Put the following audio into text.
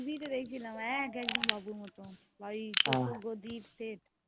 ওখানে ডেকসিন এক একদম বাবু র মতন মানে সেই বাড়ি যদি তে